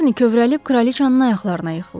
Şarni kövrəlib kraliçanın ayaqlarına yıxıldı.